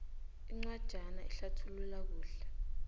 incwajana ehlathulula kuhle